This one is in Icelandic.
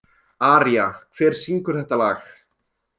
Aría, hver syngur þetta lag?